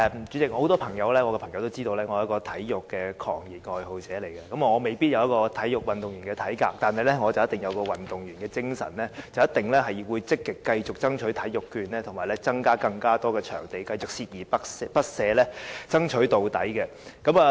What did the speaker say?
主席，我很多朋友都知道我是一個體育狂熱愛好者，我未必擁有體育運動員的體格，但卻肯定有運動員的精神，必定會繼續積極爭取體育券和增加更多場地，繼續鍥而不捨，爭取到底。